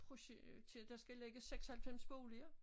Projektere der skal ligge 96 boliger